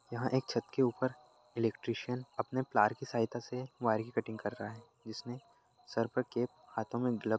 यहाॅं एक छत के ऊपर इलेक्ट्रीशियन अपने प्लार के सहायता से वायर कटिंग कर रहा है। जिसमे सर पर कैप हाथो में ग्लव --